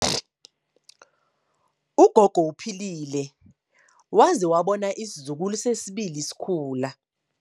Ugogo uphilile waze wabona abazukulu besibili bekhula.